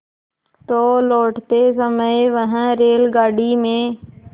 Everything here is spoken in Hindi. तो लौटते समय वह रेलगाडी में